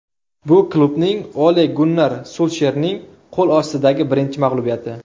Bu klubning Ole-Gunnar Sulsherning qo‘l ostidagi birinchi mag‘lubiyati.